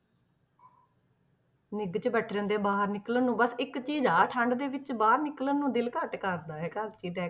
ਨਿੱਘ 'ਚ ਬੈਠੇ ਰਹਿੰਦੇ ਆ ਬਾਹਰ ਨੀ ਨਿਕਲਣ ਨੂੰ ਬਸ ਇੱਕ ਚੀਜ਼ ਆ ਠੰਢ ਦੇ ਵਿੱਚ ਬਾਹਰ ਨਿਕਲਣ ਨੂੰ ਦਿਲ ਘੱਟ ਕਰਦਾ ਹੈਗਾ ਐਤਕੀ ਤੇ।